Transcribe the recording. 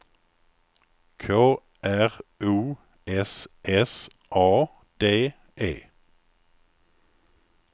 K R O S S A D E